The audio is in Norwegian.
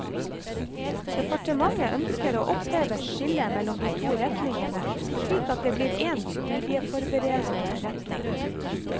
Departementet ønsker å oppheve skillet mellom de to retningene slik at det blir én studieforberedende retning.